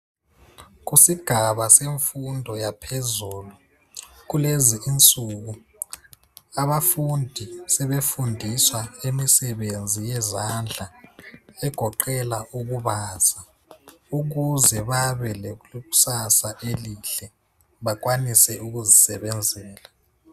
Kusigaba semfundo yaphezulu kulezi insuku abafundi sebefundiswa imisebenzi yezandla egoqeda ukubaza ukuze babe lekusasa elihle bakwanise ukuzisebenzela.